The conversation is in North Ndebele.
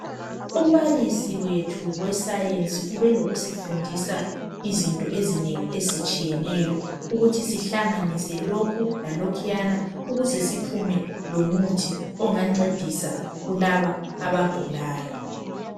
Umbalisi wethu weScience ubelokusifundisa izinto izinengi ezitshiyeneyo, ukuthi sihlanganise lokhu lalokhuya ukuze siphume lomuthi ongancedisa kulaba abagulayo.